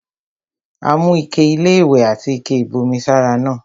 Ó mú ike-iléwẹ̀ àti ike-ìbomi sára náà.